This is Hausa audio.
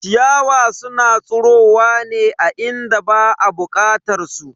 Ciyawa suna tsirowa ne a inda ba a bukatar su.